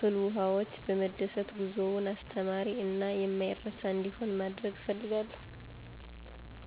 ፍልውሃዎች በመደሰት ጉዞውን አስተማሪ እና የማይረሳ እንዲሆን ማድረግ እፈልጋለሁ።